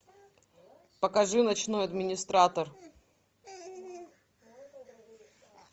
покажи ночной администратор